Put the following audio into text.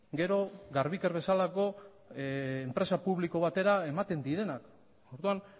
gero garbiker bezalako enpresa publiko batera ematen direnak orduan